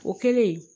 O kɛlen